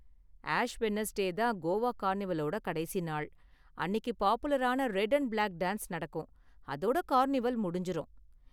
Ash Wednesday தான் கோவா கார்னிவலோட கடைசி நாள், அன்னிக்கு பாப்புலரான ரெட் அண்ட் பிளாக் டான்ஸ் நடக்கும். அதோட கார்னிவல் முடிஞ்சுரும்.